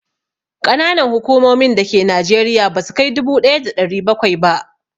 Ƙananan hukumomin da ke Najeriya ba sukai dubu ɗaya da ɗari bakwai ba